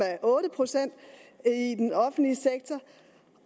procent i den offentlige sektor